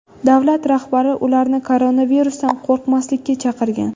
Davlat rahbari ularni koronavirusdan qo‘rqmaslikka chaqirgan.